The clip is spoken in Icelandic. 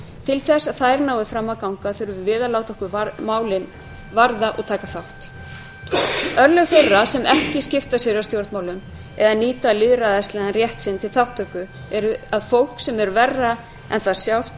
til að þær nái fram þurfum við að láta okkur málin varða og taka þátt örlög þeirra sem ekki skipta sér af stjórnmálum eða nýta lýðræðislegan rétt sinn til þátttöku eru að fólk sem er verra en það sjálft